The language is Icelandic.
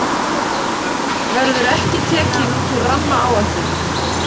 Verður ekki tekin út úr rammaáætlun